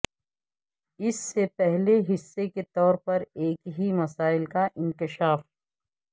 اس سے پہلے حصے کے طور پر ایک ہی مسائل کا انکشاف